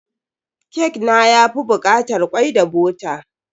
Kek na yafi bukatar kwai da bota.